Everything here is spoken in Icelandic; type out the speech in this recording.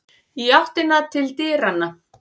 Í áttina til dyranna.